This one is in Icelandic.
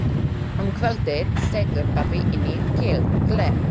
Um kvöldið setur pabbi í nýtt gler.